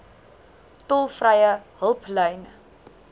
tolvrye hulplyn